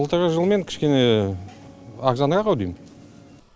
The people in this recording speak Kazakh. былтырғы жылмен кішкене арзанырақ ау дейм